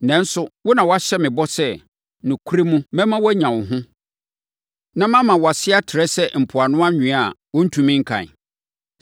Nanso, wo na woahyɛ me bɔ sɛ, ‘Nokorɛ mu, mɛma woanya wo ho, na mama wʼase afɛe ayɛ sɛ mpoano anwea a wɔntumi nkan.’ ”